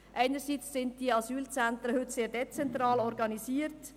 Einerseits sind die Asylzentren heute sehr dezentral organisiert.